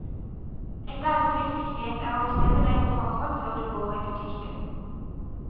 Et annet viktig knep er å bestemme deg på forhånd før du går i butikken.